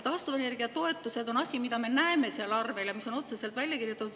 Taastuvenergia toetused on need, mida me seal arvel näeme ja mis on otseselt välja kirjutatud.